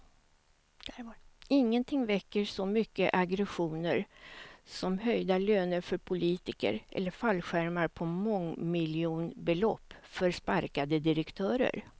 Ingenting väcker så mycket aggressioner som höjda löner för politiker eller fallskärmar på mångmiljonbelopp för sparkade direktörer.